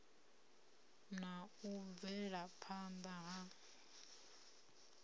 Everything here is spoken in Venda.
na u bvela phana ha